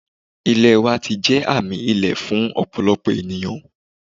Ilẹ wa ti jẹ aami ile fun ọpọlọpọ eniyan